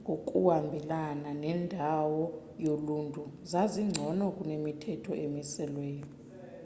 ngokuhambelana nendawo yoluntu zazingcono kunemithetho emiselweyo